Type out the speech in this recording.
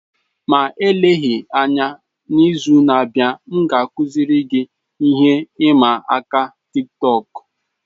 Ma eleghị anya, n'izu na-abịa, m ga-akụziri gị ihe ịma aka Tiktọk.